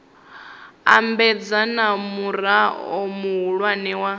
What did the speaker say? ambedzana na murao muhulwane wa